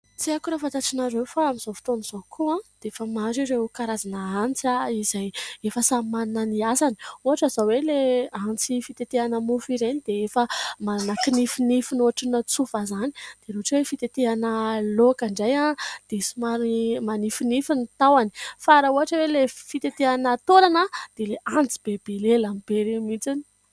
Tsy aiko raha fantatr'ianareo, fa amin'izao fotoan'izao koa, dia efa maro ireo karazana antsy, izay efa samy manana ny asany. Ohatra izao hoe: ilay antsy fitetehana mofo ireny dia efa manana kinifinify tsofa izany dia ohatran'ny hoe fitetehana laoka dia antsy manifinify ny tahony, fa raha ohatra hoe ilay fitetehana taolana, dia ilay antsy be lelany be ireny mihitsy.